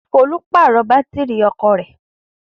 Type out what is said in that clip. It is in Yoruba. Folú pàrọ̀ bátírí ọkọ rẹ̀.